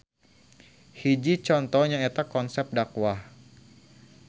Hiji conto nyaeta konsep dakwah.